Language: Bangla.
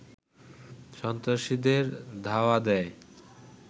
সন্ত্রাসীদের ধাওয়া দেয়